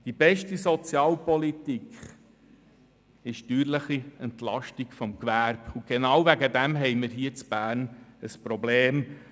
Die beste Sozialpolitik ist die steuerliche Entlastung des Gewerbes, und genau deswegen haben wir hier in Bern ein Problem.